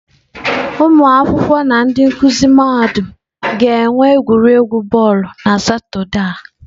Ụmụ akwụkwọ na ndị nkuzi mahadum ga-enwe egwuregwu bọọlụ na Satọde a.